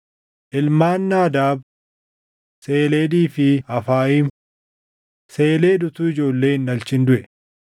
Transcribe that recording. Ilmaan Naadaab: Seleedii fi Afayiim. Seleed utuu ijoollee hin dhalchin duʼe.